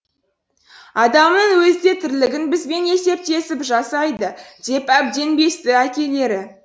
адамыңның өзі де тірлігін бізбен есептесіп жасайды деп әбден безді әкелері